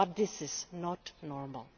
But this is not normal.